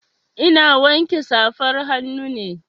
Ina wanke safar hannu ne.